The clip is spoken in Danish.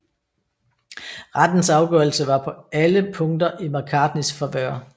Rettens afgørelsen var på alle punkter i McCartneys favør